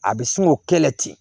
A bɛ sin k'o kɛlɛ ten